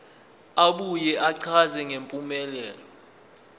abuye achaze ngempumelelo